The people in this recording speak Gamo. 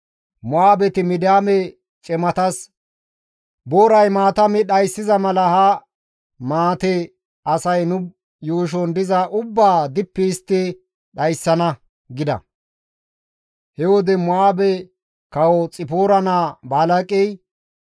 Mo7aabeti Midiyaame cimatas, «Booray maata mi dhayssiza mala ha maate asay nu yuushon diza ubbaa dippi histti dhayssana» gida. He wode Mo7aabe Kawo Xipoora naa Balaaqey,